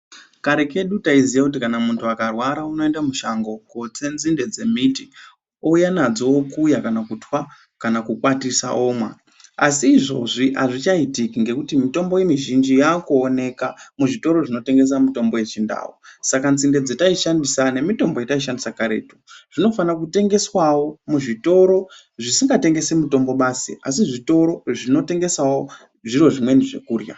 Kare kedu ndayiziva kuti kana muntu akarwara unoenda mushango kotse nzimbe dzemiti owuya nadzo okuya kana kuthwa kana kukwatisa omwa. Asi izvozvi hazvichaitiki ngekuti mitombo mizhinji yakuwanika muzvitoro zvinotengesa mitombo yechindau, saka ntsimbe dzatayishandisa nemitombo yatayishandisa kare zvinofanokutengeswawo muzvitoro zvisingatengesi mitombo masi zvinotengesawo zvimwewo zvokudla.